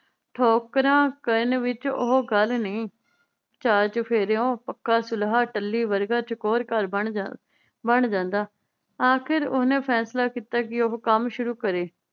ਠੋਕਰਾਂ ਕਰਨ ਵਿਚ ਉਹ ਗੱਲ ਨਹੀ ਚਾਰ ਚੁਫੇਰਿਓਂ ਪੱਕਾ ਸੁਲ੍ਹਾ ਟੱਲੀ ਵਰਗਾ ਚਕੋਰ ਘਰ ਬਣ ਜਾਨ ਬਣ ਜਾਂਦਾ। ਆਖਿਰ ਓਹਨੇ ਫੈਸਲਾ ਕੀਤਾ ਕਿ ਉਹ ਕੰਮ ਸ਼ੁਰੂ ਕਰੇ।